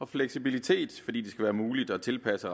fleksibilitet fordi det skal være muligt at tilpasse